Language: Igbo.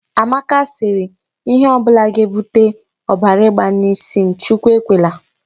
Amaka sịrị, 'Ihe ọ bụla ga-ebute ọbara ịgba n'isi m, Chukwu ekwela'.